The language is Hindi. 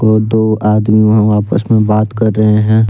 दो आदमी वहां पर आपस में बात कर रहे हैं।